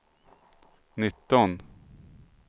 nitton